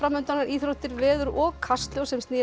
undan íþróttir veður og Kastljós sem snýr